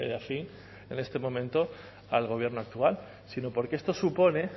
afín en este momento al gobierno actual sino porque esto supone